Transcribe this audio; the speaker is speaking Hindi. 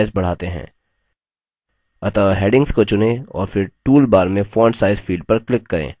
अतः headings को चुनें और फिर toolbar में font size field पर click करें